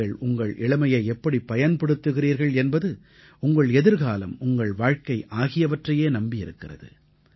நீங்கள் உங்கள் இளமையை எப்படி பயன்படுத்துகிறீர்கள் என்பது உங்கள் எதிர்காலம் உங்கள் வாழ்க்கை ஆகியவற்றையே நம்பியிருக்கிறது